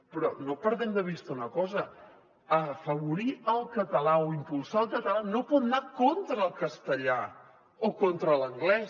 però no perdem de vista una cosa afavorir el català o impulsar el català no pot anar contra el castellà o contra l’anglès